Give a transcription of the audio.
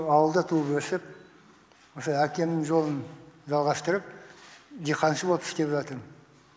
ауылда туып өсіп осы әкемнің жолын жалғастырып диқаншы болып істеп жатырмын